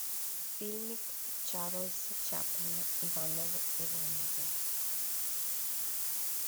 фильмик чарльза чаплина ивановы ивановы